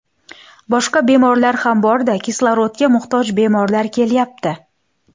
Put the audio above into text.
Boshqa bemorlar ham bor-da, kislorodga muhtoj bemorlar kelyapti.